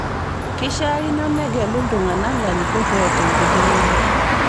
Keishaakino negelu ltung'ana larikok oota enkidimata